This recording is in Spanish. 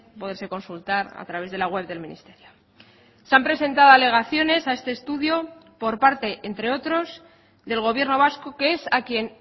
poderse consultar a través de la web del ministerio se han presentado alegaciones a este estudio por parte entre otros del gobierno vasco que es a quien